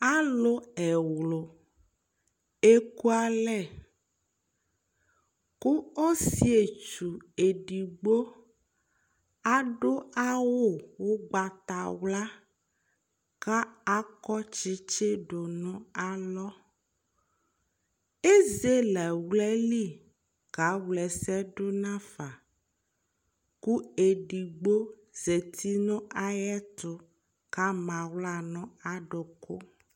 Alʋ ɛwlʋ ekualɛ : ƙʋ osɩetsu edigbo adʋ awʋ ʋgbatawla ;kʋ akɔ tsitsi dʋ nʋ alɔ Ezele aɣla li kawla ɛsɛdʋ n'afa ; kʋ edigbobzati n'ayɛtʋ k'ama aɣla nʋ adʋkʋ